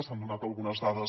s’han donat algunes dades